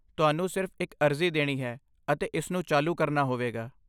ਤੁਹਾਨੂੰ ਸਿਰਫ਼ ਇੱਕ ਅਰਜ਼ੀ ਦੇਣੀ ਹੈ ਅਤੇ ਇਸਨੂੰ ਚਾਲੂ ਕਰਨਾ ਹੋਵੇਗਾ।